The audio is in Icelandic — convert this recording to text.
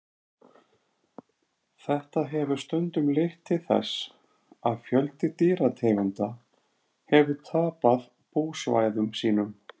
þetta hefur stundum leitt til þess að fjöldi dýrategunda hefur tapað búsvæðum sínum